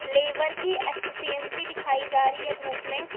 Liver की efficiency दिखाई जा रही है धूप में।